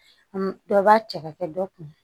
dɔ b'a cɛ ka kɛ dɔ kun